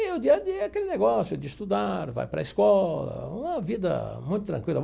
E o dia a dia é aquele negócio de estudar, vai para a escola, uma vida muito tranquila.